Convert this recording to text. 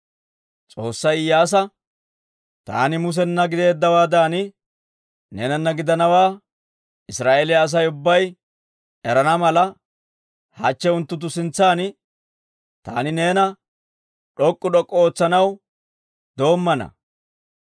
S'oossay Iyyaasa, «Taani Musena gideeddawaadan, neenana gidanawaa Israa'eeliyaa Asay ubbay erana mala, hachche unttunttu sintsan taani neena d'ok'k'u d'ok'k'u ootsanaw doommana.